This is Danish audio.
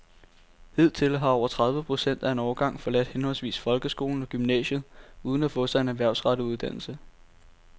Hidtil har over tredive procent af en årgang forladt henholdsvis folkeskolen og gymnasiet uden at få sig en erhvervsrettet uddannelse.